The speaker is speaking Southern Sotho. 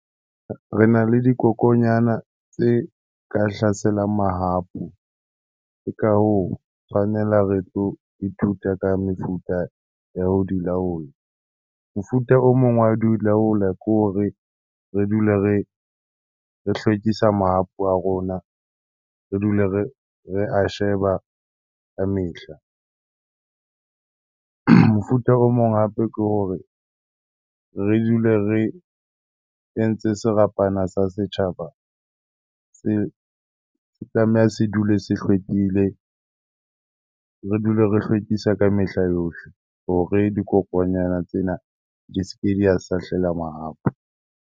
Rena le dikokonyana tse ka hlaselang mahapu. Ke ka hoo, tshwanela re tlo ithuta ka mefuta ya ho di laola. Mofuta o mong wa di laola ke hore re dule re hlwekisa mahapu a rona, re dule re a sheba ka mehla. Mofuta o mong hape ke hore re dule re entse serapana sa setjhaba, se tlameha se dule se hlwekile, re dule re hlwekisa ka mehla yohle hore dikokonyana tsena di ske di a sahlela mahapu.